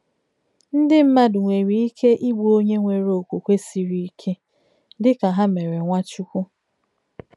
Ndị mmadụ nwere ike igbu onye nwere okwukwe siri ike, dịka ha mere Nwachukwu.